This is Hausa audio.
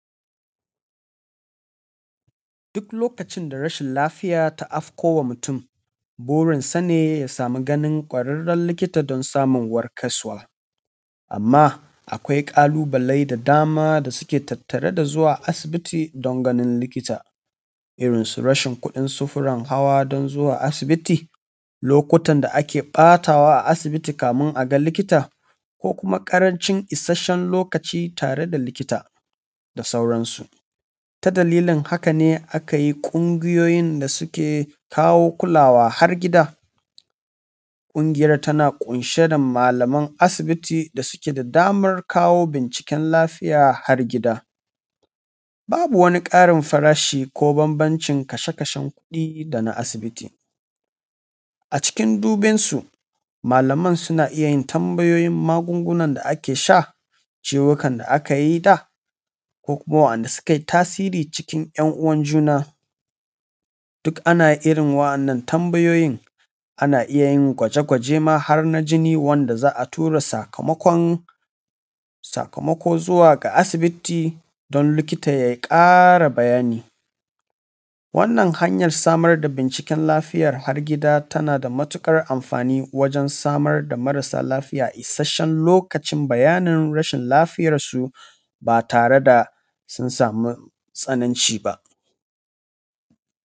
Duk lokacin da rashin lafiya ta afkowa mutum wurinsa ne ya samu ganin ƙwararren likita don samu warkaswa, amma akwai ƙalubalai da dama da suke tattare da zuwa asibiti don ganin likita, irinsu rashin kuɗin sufurin hawa don zuwa asibiti, lokutan da ake ɓatawa a asibiti kamin a ga likita, ko kuma ƙarancin isasshen lokaci tare da likita da sauransu. Ta dalilin haka ne aka yi ƙungiyoyin da suke kawo kulawa har gida. Ƙungiyar tana ƙunshe da malaman asibiti da suke da damar kawo binciken lafiya har gida. Babu wani ƙarin farashi ko bambancin kashe-kashen kuɗi da na asibiti. Acikin dubin su malaman suna iya yin magungunan da ake sha, ciwowukan da aka yi da ko kuma wa'inda suka yi tasiri cikin 'yan'uwan juna. Duk ana iya yin irin wa'annan tambayoyin da ana iya yin gwaje-gwajen ma har na jini wanda za a tura sakamakon, sakamako zuwa ga asibiti don likita ya ƙara bayani. Wannan hanyar samar da binciken lafiya har gida tana da matuƙar amfani wajen samar da marasa lafiya da isasshen lokacin bayanin rashin lafiyar su ba tare da sun samu tsananci ba.